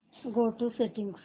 go to settings